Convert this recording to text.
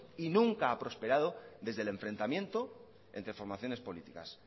y nunca ha prosperado desde el enfrentamiento entre formaciones políticas